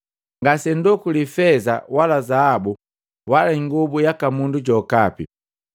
Ngasendokuli feza wala zaabu wala ingobu yaka mundu jokapi.